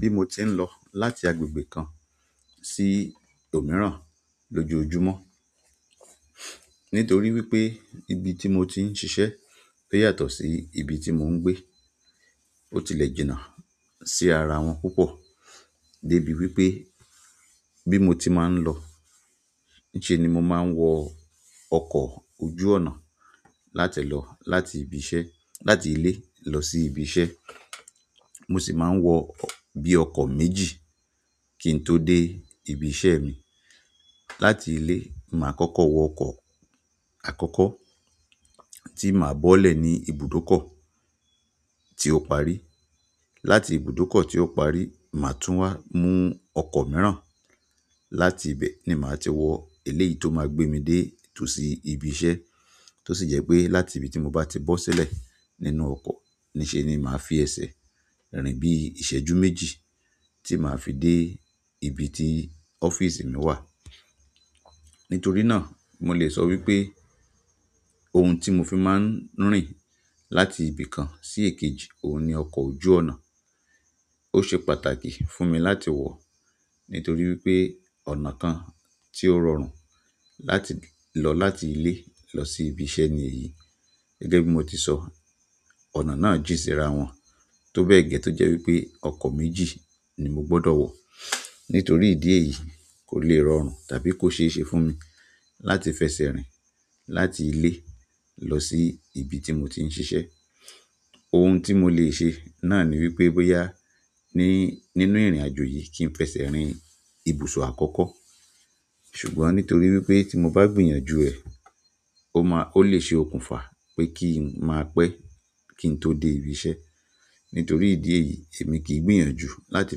Bí mo ti ń lọ láti agbègbè kan sí òmíràn lójoojúmọ́, nítorí wípé ibi tí mo ti ń ṣiṣẹ́ pé yàtọ̀ sí ibi tí mò ń gbé, ó ti lè jìnà sí ara wọn púpọ̀ dé ibi wípé bí mo ti máa ń lọ níṣe ni mo máa ń wọ ọkọ̀ ojú ọ̀nà láti lọ láti ibi iṣẹ́-- láti ilé lọ sí ibi iṣẹ́. Mo sì máa ń wọ bí ọkọ̀ méjì kí n tó dé ibi iṣẹ́ mi. Láti ilé, màá kọ́kọ́ wọ ọkọ̀ àkọ́kọ́ tí màá bọ́lẹ̀ ní ibùdókọ̀ tí ó parí. Láti ibùdókọ̀ tí ó parí, màá tún wá mú ọkọ̀ mìíràn. Láti ibẹ̀ ni màá ti wọ eléyìí tó máa gbé mi dé tosí ibi iṣẹ́. Tó sì jẹ́ pé láti ibi tí mo bá ti bọ́ sílẹ̀ nínú ọkọ̀, níṣe ni màá fi ẹsẹ̀ rìn bí ìṣẹ́jú méjì tí màá fi dé ibi tí ọ́fíìsì mi wà. Nítorí náà, mo lè sọ wípé ohun tí mo fi máa ń rìn láti ibi kan sí èkejì, òun ni ọkọ̀ ojú ọ̀nà. Ó ṣe pàtàkì fún mi láti wọ̀ nítorí wípé ọ̀nà kan tí ó rọrùn láti lọ láti ilé lọ sí ibi iṣẹ́ ni èyí. Gẹ́gẹ́ bí mo ti sọ, ọ̀nà náà jín ṣíra wọn tó bẹ́ẹ̀ gẹ́ tó jẹ́ wípé ọkọ̀ méjì ni mo gbọdọ̀ wọ̀. Nítorí ìdí èyí kò le rọrùn tàbí kó ṣe é ṣe fún mi láti fẹsẹ̀ rìn láti ilé lọ sí ibi tí mo ti ń ṣiṣẹ́. Ohun tí mo lè ṣe náà ni wípé bóyá ni nínú ìrìnàjò yìí kí n fẹsẹ̀ rìn ibùsọ̀ àkọ́kọ́. Ṣùgbọ́n nítorí wípé tí mo bá gbìyànjú ẹ̀, ó máa-- ó lè ṣe okùnfà pé kí n máa pẹ́ kí n tó dé ibi iṣẹ́. Nítorí ìdí èyí, ẹmi kìn gbìyànjú láti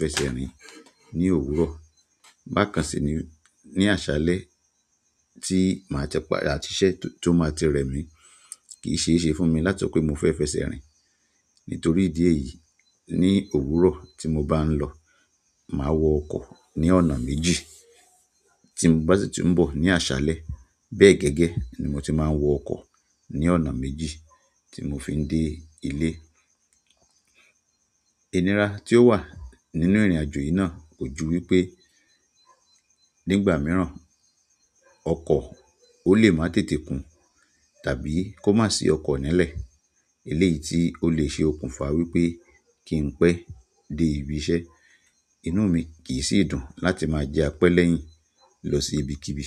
fẹsẹ̀ rìn ní òwúrọ̀. Bákan sì ní, ní àṣálẹ́ tí màá tí pà àti iṣẹ́ tó máa ti rẹ mi kì í ṣe é ṣe fún mi látí sope mo fé f'ẹsẹ rìn. Nítorí ìdí èyí, ní òwúrọ̀ tí mo bá ń lọ, màá wọ ọkọ̀ ní ọ̀nà méjì. Tí bá sì ti ń bo ní àṣálẹ́, bẹ́ẹ̀ gẹ́gẹ́ ni mo ti máa ń wọ ọkọ̀ ní ọ̀nà méjì tí mo fi ń dé ilé. Ìnira tí ó wà nínú ìrìnàjò yìí náà kò ju wípé nígbà mìíràn ọkọ̀ ó lè máa tètè kún tàbí kó má sì ọkọ̀ nílẹ̀. Eléyìí tí ó lè ṣe okùnfà wípé kí n pẹ́ dé ibi iṣẹ́. Inú mi kì í sì dùn láti máa jẹ́ apẹ́ lẹ́yìn lọ sí ibikíbi.